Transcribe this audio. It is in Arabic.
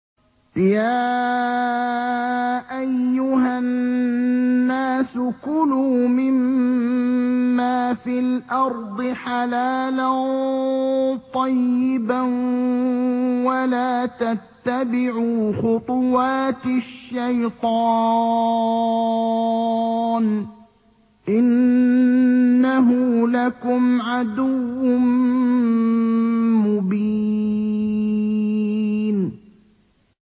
يَا أَيُّهَا النَّاسُ كُلُوا مِمَّا فِي الْأَرْضِ حَلَالًا طَيِّبًا وَلَا تَتَّبِعُوا خُطُوَاتِ الشَّيْطَانِ ۚ إِنَّهُ لَكُمْ عَدُوٌّ مُّبِينٌ